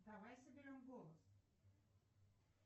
давай соберем голос